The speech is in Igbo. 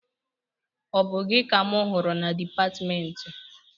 Ọ bụ gị ka mụ hụrụ na dịpatmentị?